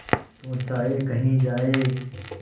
तू चाहे कही जाए